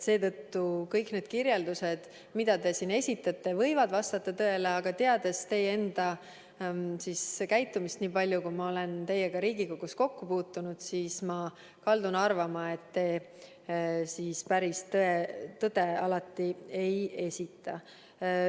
Seetõttu kõik need kirjeldused, mida te siin esitate, võivad vastata tõele, aga teades teie enda käitumist, nii palju kui ma olen teiega Riigikogus kokku puutunud, ma kaldun arvama, et päris tõde te alati ei esita.